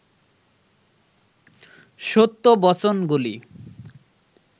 সত্য বচনগুলি